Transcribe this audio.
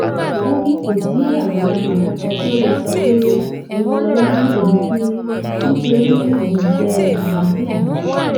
ó ní kò sí àgbàlagbà kankan tó lè sọ pé òyìnlọla rí òun fín rí nítorí olùfẹ àlàáfíà ni